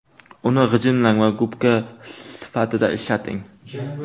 Uni g‘ijimlang va gubka sifatida ishlating.